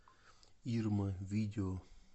ирма видео